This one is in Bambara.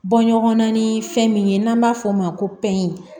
Bɔ ɲɔgɔnna ni fɛn min ye n'an b'a f'o ma ko pɛrɛn